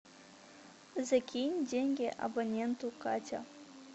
закинь деньги абоненту катя